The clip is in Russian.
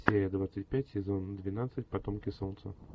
серия двадцать пять сезон двенадцать потомки солнца